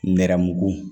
Nɛrɛmugugu